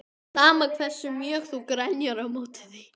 Sama hversu mjög þú grenjar á móti því.